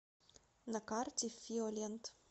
на карте фиолент